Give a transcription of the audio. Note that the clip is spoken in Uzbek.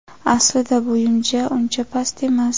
Aslida bo‘yim ja uncha past emas.